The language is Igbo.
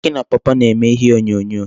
Akị na pawpaw na-eme ihe onyonyo.